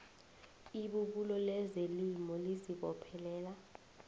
ibubulo lezelimo lizibophelela